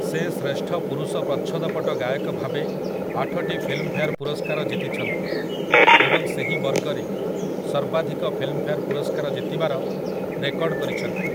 ସେ ଶ୍ରେଷ୍ଠ ପୁରୁଷ ପ୍ରଚ୍ଛଦପଟ ଗାୟକ ଭାବେ ଆଠଟି ଫିଲ୍ମଫେୟାର୍ ପୁରସ୍କାର ଜିତିଛନ୍ତି ଏବଂ ସେହି ବର୍ଗରେ ସର୍ବାଧିକ ଫିଲ୍ମଫେୟାର୍ ପୁରସ୍କାର ଜିତିବାର ରେକର୍ଡ କରିଛନ୍ତି ।